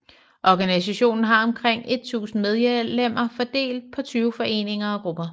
Organisationen har omkring 1000 medlemmer fordelt på 20 foreninger og grupper